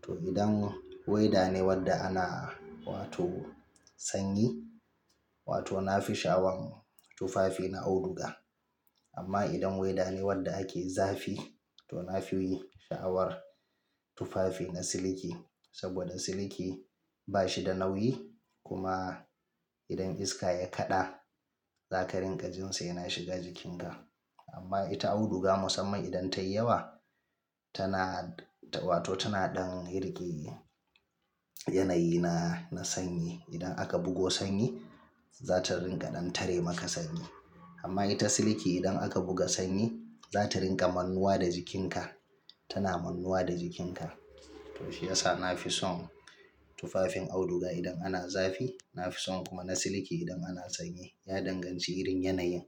To idan weda ne wanda ana wato sanyi, wato na fi sha'awan tufafi na auduga. Amma idan weda ne wadda ake zafi, to na fi yi sha'awar tufafi na siliki. Saboda siliki ba shi da nauyi kuma idan iska ya kaɗa, za ka rinƙa jin sa yana shiga jikinka. Amma ita auduga musamman idan tayi yawa tana wato tana ɗan rike yanayi na, na sanyi. Idan aka bugo sanyi, za ta rinƙa ɗan tare maka sanyi. Amma ita siliki idan aka buga sanyi, za ta rinƙa mannuwa da jikinka, tana mannuwa da jikinka. To shi yasa na fi son tufafin auduga idan ana zafi, na fi son kuma na siliki idan ana sanyi. Ya danganci irin yanayin.